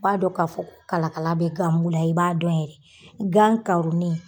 I b'a dɔn k'a fɔ ko kalakala bɛ gan bula i b'a dɔn yɛrɛ, gan karonen.